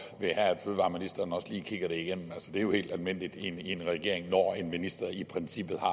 vil have at fødevareministeren også lige kigger det igennem altså det er jo helt almindeligt i en en regering når en minister i princippet har